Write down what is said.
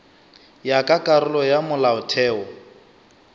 ya ka karolo ya molaotheo